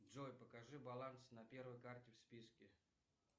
джой покажи баланс на первой карте в списке